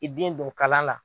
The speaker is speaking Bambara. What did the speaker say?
I den don kalan la.